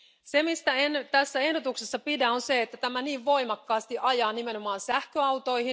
Se, mistä en tässä ehdotuksessa pidä, on se, että tämä niin voimakkaasti ajaa nimenomaan sähköautoja.